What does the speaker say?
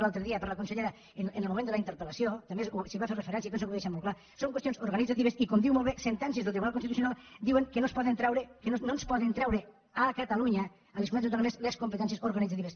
l’altre dia per la consellera en el moment de la interpel·lació també s’hi va fer referència jo penso que ho va deixar molt clar són qüestions organitzatives i com diu molt bé sentències del tribunal constitucional diuen que no ens poden treure a catalunya a les comunitats autònomes les competències organitzatives